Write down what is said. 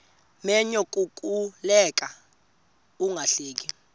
menyo kukuleka ungahleki